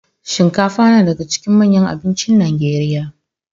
Shinkafa nadaka cikin manyan abincin nigeria